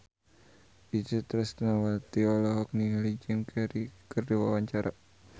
Itje Tresnawati olohok ningali Jim Carey keur diwawancara